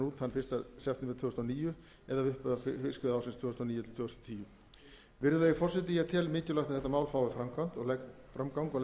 út þann fyrsta september tvö þúsund og níu eða við upphaf fiskveiðiársins tvö þúsund og níu tvö þúsund og tíu hæstvirtur forseti ég tel mikilvægt að mál þetta fái framgang og